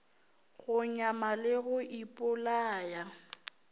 go nyama le go ipolaya